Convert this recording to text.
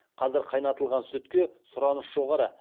қазір қайнатылған сүтке сұраныс жоғары